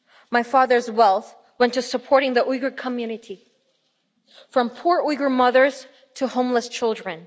My father's wealth went to supporting the Uyghur community from poor Uyghur mothers to homeless children.